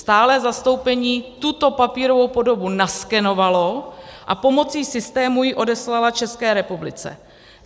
Stálé zastoupení tuto papírovou podobu naskenovalo a pomocí systému ji odeslalo České republice.